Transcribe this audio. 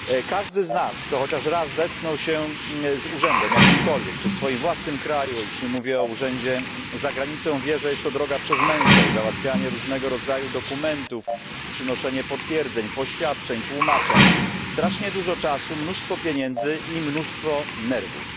Każdy z nas, kto chociaż raz zetknął się z jakimkolwiek urzędem czy to w swoim własnym kraju, już nie mówię o urzędzie za granicą wie, że jest to droga przez mękę załatwianie różnego rodzaju dokumentów, przynoszenie potwierdzeń, poświadczeń, tłumaczeń strasznie dużo czasu, mnóstwo pieniędzy i mnóstwo nerwów.